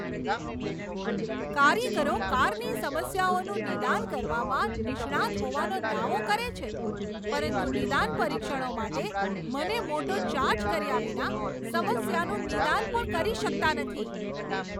કારીગરો કારની સમસ્યાઓનું નિદાન કરવામાં નિષ્ણાંત હોવાનો દાવો કરે છે પરંતુ 'નિદાન પરીક્ષણો' માટે મને મોટો ચાર્જ કર્યા વિના સમસ્યાનું નિદાન પણ કરી શકતા નથી?